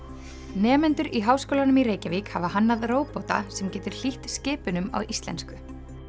nemendur í Háskólanum í Reykjavík hafa hannað róbóta sem getur hlýtt skipunum á íslensku